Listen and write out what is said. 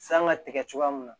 San ka tigɛ cogoya min na